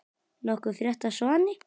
Nokkuð frétt af Svani?